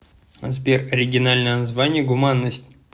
сбер оригинальное название гуманность